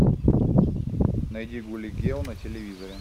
найди гули гел на телевизоре